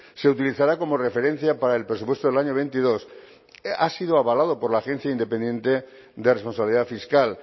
se utilizará como referencia para el presupuesto del año veintidós ha sido avalado por la ciencia independiente de responsabilidad fiscal